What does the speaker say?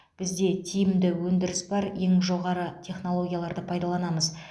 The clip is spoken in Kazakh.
бізде тиімді өндіріс бар ең жоғары технологияларды пайдаланамыз